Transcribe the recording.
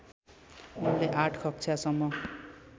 उनले आठ कक्षासम्म